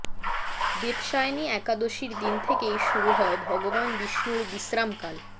দেবশায়ানী একাদশীর দিন থেকেই শুরু হয় ভগবান বিষ্ণুর বিশ্রামকাল